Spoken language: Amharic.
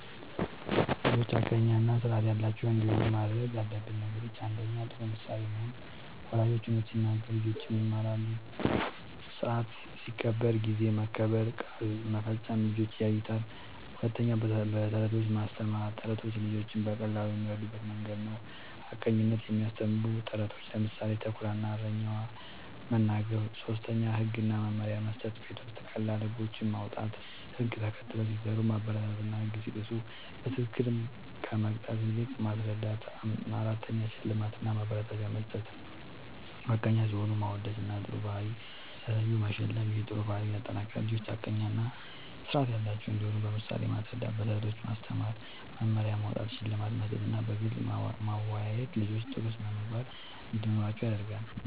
ልጆች ሐቀኛ እና ስርዓት ያላቸው እንዲሆኑ ማድረግ ያለብን ነገሮችን፦ ፩. ጥሩ ምሳሌ መሆን፦ ወላጆች እውነት ሲናገሩ ልጆችም ይማራሉ። ስርዓት ሲከበር (ጊዜ መከበር፣ ቃል መፈጸም) ልጆች ያዩታል። ፪. በተረቶች ማስተማር፦ ተረቶች ልጆች በቀላሉ የሚረዱበት መንገድ ነዉ። ሐቀኝነትን የሚያስተምሩ ተረቶችን (ምሳሌ፦ “ተኩላ እና እረኛው”) መናገር። ፫. ህግ እና መመሪያ መስጠት፦ ቤት ውስጥ ቀላል ህጎች ማዉጣት፣ ህግ ተከትለው ሲሰሩ ማበረታታትና ህግ ሲጥሱ በትክክል ከመቅጣት ይልቅ ማስረዳት ፬. ሽልማት እና ማበረታቻ መስጠት፦ ሐቀኛ ሲሆኑ ማወደስና ጥሩ ባህሪ ሲያሳዩ መሸለም ይህ ጥሩ ባህሪን ያጠናክራል። ልጆች ሐቀኛ እና ስርዓት ያላቸው እንዲሆኑ በምሳሌ ማስረዳት፣ በተረቶች ማስተማር፣ መመሪያ ማዉጣት፣ ሽልማት መስጠትና በግልጽ ማወያየት ልጆች ጥሩ ስነ ምግባር እንዲኖራቸዉ ያደርጋል